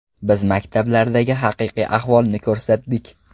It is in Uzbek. Biz maktablardagi haqiqiy ahvolni ko‘rsatdik.